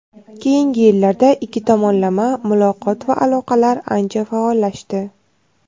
Keyingi yillarda ikki tomonlama muloqot va aloqalar ancha faollashdi.